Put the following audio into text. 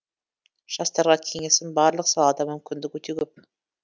жастарға кеңесім барлық салада мүмкіндік өте көп